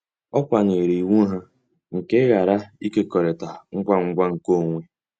Ọ kwanyeere iwu ha nke ịghara ịkekọrịta ngwa ngwa nkeonwe.